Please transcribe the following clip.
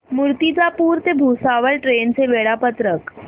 मूर्तिजापूर ते भुसावळ ट्रेन चे वेळापत्रक